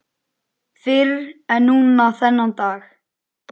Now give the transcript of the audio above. Fyrr en núna þennan dag.